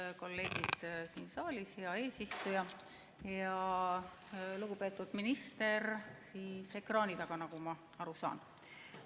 Head kolleegid siin saalis ja lugupeetud minister ekraani taga, nagu ma aru saan!